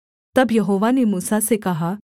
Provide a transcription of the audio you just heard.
तब यहोवा ने मूसा से कहा